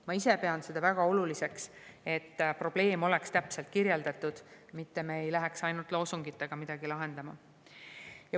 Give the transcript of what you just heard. Ma ise pean seda väga oluliseks, et probleem oleks täpselt kirjeldatud, mitte me ei läheks ainult loosungitega midagi lahendama.